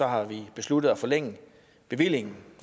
har vi besluttet at forlænge bevillingen